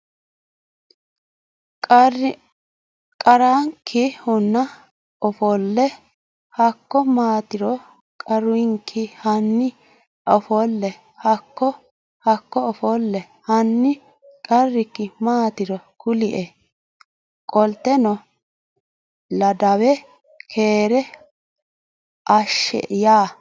qarrakki Hanni offolle Hakko maatiro qarrakki Hanni offolle Hakko Hakko offolle Hanni qarrakki maatiro kulie Qolteno Ladawe keere ashe ya !